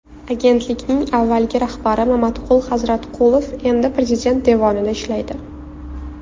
Agentlikning avvalgi rahbari Mamatqul Hazratqulov endi Prezident devonida ishlaydi.